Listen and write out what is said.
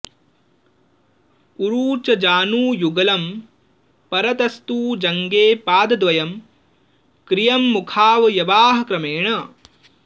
उरू च जानुयुगलं परतस्तु जङ्गे पादद्वयं क्रियमुखावयवाः क्रमेण